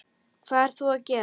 Hvað ert þú að gera?